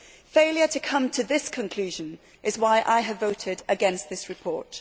Failure to come to this conclusion is why I have voted against this report.